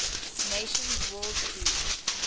nations world food